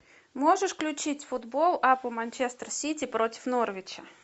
можешь включить футбол апл манчестер сити против норвича